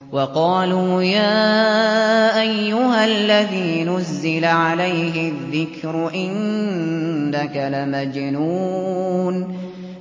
وَقَالُوا يَا أَيُّهَا الَّذِي نُزِّلَ عَلَيْهِ الذِّكْرُ إِنَّكَ لَمَجْنُونٌ